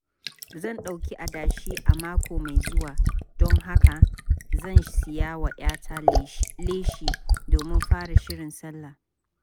Zan ɗauki adashi a mako mai zuwa, don haka zan siya wa 'yata leshi domin fara shirin sallah.